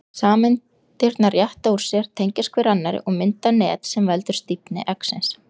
Sameindirnar rétta úr sér, tengjast hver annarri og mynda net sem veldur stífni eggsins.